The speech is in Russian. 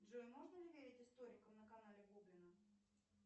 джой можно не верить историкам на канале гоблина